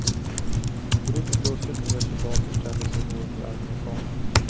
Drygt ett dussin nya soldater ställde sig då under arméfanan.